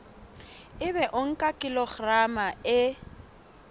ebe o nka kilograma e